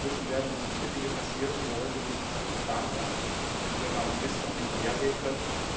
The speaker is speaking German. Dazwischen werden uns viele Dinge passieren, die wir heute nicht auf dem Plan haben, die wir gar nicht wissen oder vorhersehen können.